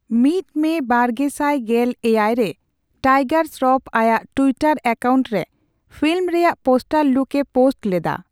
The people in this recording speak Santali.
ᱢᱤᱛ ᱢᱮ ᱵᱟᱨᱜᱮᱥᱟᱭ ᱜᱮᱞ ᱮᱭᱟᱭ ᱨᱮ, ᱴᱟᱭᱜᱟᱨ ᱥᱨᱚᱯ ᱟᱭᱟᱜ ᱴᱩᱭᱴᱟᱨ ᱮᱠᱟᱣᱩᱱᱴ ᱨᱮ ᱯᱷᱤᱞᱢ ᱨᱮᱭᱟᱜ ᱯᱚᱥᱴᱟᱨ ᱞᱩᱠ ᱮ ᱯᱳᱥᱴ ᱞᱮᱫᱟ ᱾